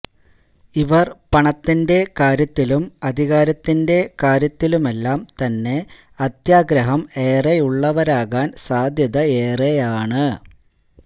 ഇവര് പണത്തിന്റെ കാര്യത്തിലും അധികാരത്തിന്റെ കാര്യത്തിലുമെല്ലാം തന്നെ അത്യാഗ്രഹം ഏറെയുള്ളവരാകാന് സാധ്യതയേറെയാണ്